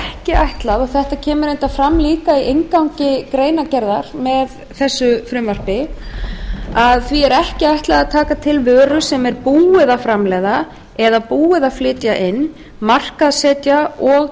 eins og kemur fram í inngangi greinargerðar með frumvarpinu er því ekki ætlað að taka til vöru sem er búið að framleiða flytja inn markaðssetja og